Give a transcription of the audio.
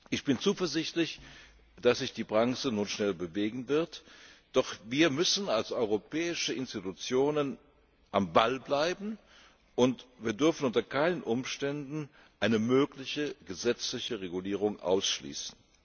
Ich bin zuversichtlich, dass sich die Branche nun schnell bewegen wird doch wir müssen als europäische Institutionen am Ball bleiben und wir dürfen unter keinen Umständen eine mögliche gesetzliche Regulierung ausschließen.